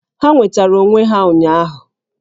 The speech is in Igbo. Ha nwetara onwe ha ụnyaahụ